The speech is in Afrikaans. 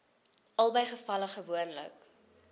albei gevalle gewoonlik